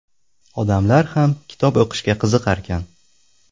Odamlar ham kitob o‘qishga qiziqarkan.